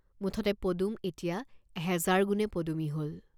মুঠতে পদুম এতিয়া হেজাৰ গুণে পদুমী হল।